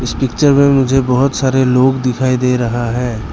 इस पिक्चर मुझे बहुत सारे लोग दिखाई दे रहा है।